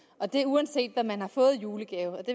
og det uanset hvad man har fået i julegave og det